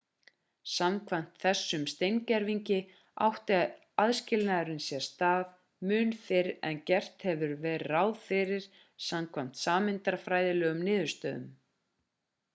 samkvæmt þessum steingervingi átti aðskilnaðurinn sér stað mun fyrr en gert hefur verið ráð fyrir samkvæmt sameindafræðilegum niðurstöðum